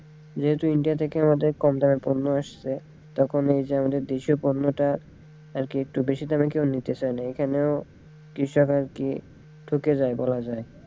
যেহেতু India থেকে আমাদের কম দামের পণ্য আসছে তখন এইযে আমাদের দেশীয় পণ্যটা আরকি একটু বেশি দামেও কেউ নিতে চায়না এখানেও কৃষক আরকি ঠকে যায় বলা যায়।